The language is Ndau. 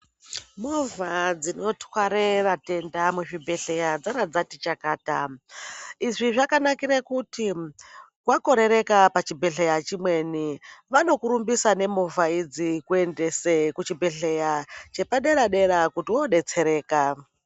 Movha dzinotware vatenda muzvibhedhleya dzaradzati chakata. Izvi zvakanakire kuti wakorereka pachibhedhleya chimweni vanokurumbisa nemovha idzi kuendese kuchibhedhleya chepadera-dera kuti woodetsereka.